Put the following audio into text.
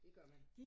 Det gør man